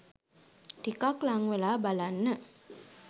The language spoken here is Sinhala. ටිකක් ළංවෙලා බලන්න !